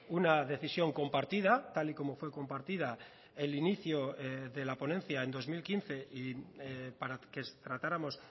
una decisión compartida tal y como fue compartida el inicio de la ponencia en dos mil quince y para que tratáramos